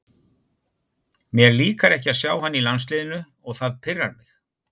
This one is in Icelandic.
Mér líkar ekki að sjá hann í landsliðinu og það pirrar mig.